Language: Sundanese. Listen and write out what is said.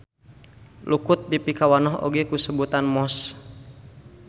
Lukut dipikawanoh oge ku sebutan mosss.